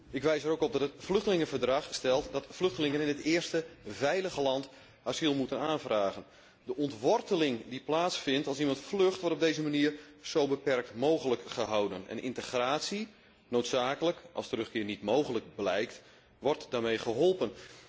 Ik wijs er ook op dat het Vluchtelingenverdrag stelt dat vluchtelingen in het eerste veilige land asiel moeten aanvragen. De ontworteling die plaatsvindt als er iemand vlucht, wordt op deze manier zo beperkt mogelijk gehouden, en integratie noodzakelijk als terugkeer niet mogelijk blijkt wordt daarmee geholpen.